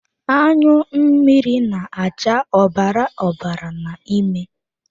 Anyụ mmiri na-acha ọbara ọbara n'ime.